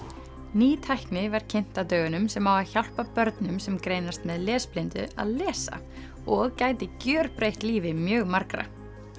ný tækni var kynnt á dögunum sem á að hjálpa börnum sem greinast með lesblindu að lesa og gæti gjörbreytt lífi mjög margra